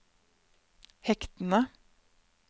hektene